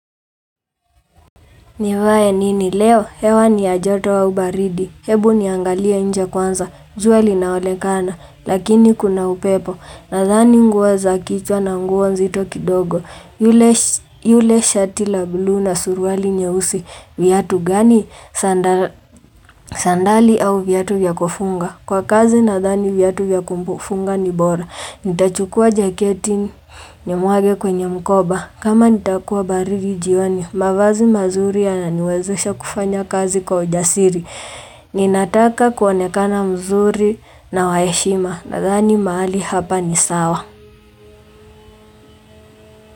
Nivaye nini leo, hewa ni ya joto au baridi, hebu niangalie nje kwanza, jua linaolekana, lakini kuna upepo, nadhani nguo za kichwa na nguo nzito kidogo, yule shati la blu na surwali nyeusi, viatu gani sandali au viatu vya kufunga, kwa kazi nadhani viatu vya kufunga ni bora, nitachukua jaketi nimwage kwenye mkoba, kama nitakuwa baridi jioni, mavazi mazuri yananiwezesha kufanya kazi kwa ujasiri. Ninataka kuonekana mzuri na waheshima. Nadhani mahali hapa ni sawa.